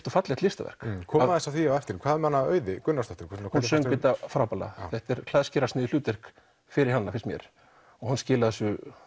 og fallegt listaverk komum aðeins að því á eftir hvað með Auði Gunnarsdóttur hún söng þetta frábærlega þetta er hlutverk fyrir hana finnst mér og hún skilaði þessu